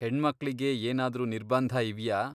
ಹೆಣ್ಮಕ್ಳಿಗೆ ಏನಾದ್ರೂ ನಿರ್ಬಂಧ ಇವ್ಯಾ?